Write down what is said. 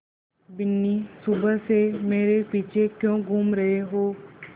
बिन्नी सुबह से मेरे पीछे क्यों घूम रहे हो